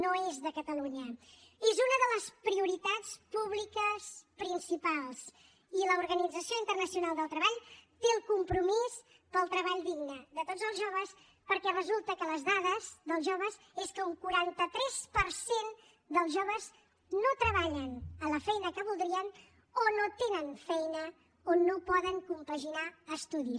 no és de catalunya és una de les prioritats públiques principals i l’organització internacional del treball té el compromís pel treball digne de tots els joves perquè resulta que les dades dels joves és que un quaranta tres per cent dels joves no treballen a la feina que voldrien o no tenen feina o no poden compaginar estudis